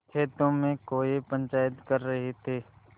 खेतों में कौए पंचायत कर रहे थे